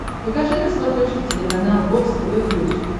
покажи на смотрешке телеканал бокс тв плюс